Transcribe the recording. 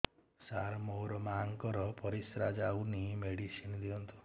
ସାର ମୋର ମାଆଙ୍କର ପରିସ୍ରା ଯାଉନି ମେଡିସିନ ଦିଅନ୍ତୁ